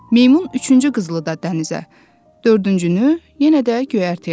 Meymun üçüncü qızılı da dənizə, dördüncünü yenə də göyərtəyə atdı.